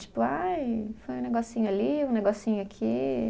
Tipo, ai foi um negocinho ali, um negocinho aqui.